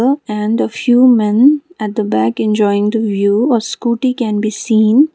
oh and a few men at the back enjoying the view a scooty can be seen.